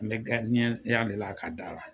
An me garidiɲɛn ya de la a ka da la